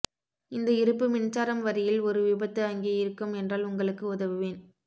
இந்த இருப்பு மின்சாரம் வரியில் ஒரு விபத்து அங்கே இருக்கும் என்றால் உங்களுக்கு உதவுவேன்